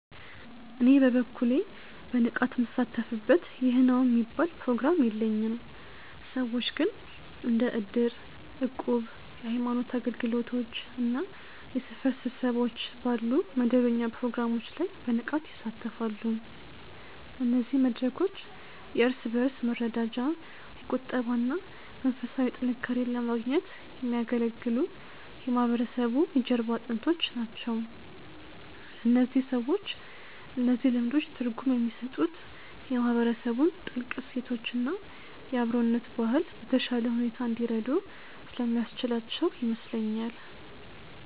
እኔ በበኩሌ በንቃት ምሳተፍበት ይህ ነው የሚባል ፕሮግራም የለኝም። ሰዎች ግን እንደ እድር፣ እቁብ፣ የሃይማኖት አገልግሎቶች እና የሰፈር ስብሰባዎች ባሉ መደበኛ ፕሮግራሞች ላይ በንቃት ይሳተፋሉ። እነዚህ መድረኮች የእርስ በእርስ መረዳጃ፣ የቁጠባ እና መንፈሳዊ ጥንካሬን ለማግኘት የሚያገለግሉ የማህበረሰቡ የጀርባ አጥንቶች ናቸው። ለእነዚህ ሰዎች እነዚህ ልምዶች ትርጉም የሚሰጡት የማህበረሰቡን ጥልቅ እሴቶች እና የአብሮነት ባህል በተሻለ ሁኔታ እንዲረዱ ስለሚያስችላቸው ይመስለኛል።